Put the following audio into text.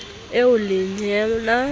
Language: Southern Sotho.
eo leyena o ne a